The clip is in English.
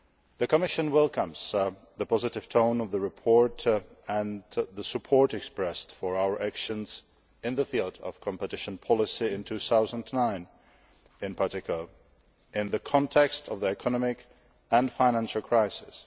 The Commission welcomes the positive tone of the report and the support expressed for our actions in the field of competition policy in 2009, in particular, in the context of the economic and financial crisis.